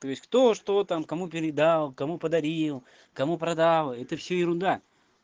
кто что там кому передал кому подарил кому продал это все ерунда